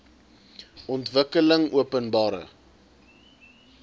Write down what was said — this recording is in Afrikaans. ontwikkelingopenbare